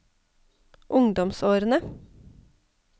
ungdomsårene